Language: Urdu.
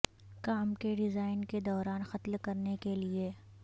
کام کے ڈیزائن کے دوران قتل کرنے کے لئے